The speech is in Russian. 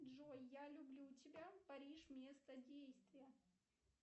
джой я люблю тебя париж место действия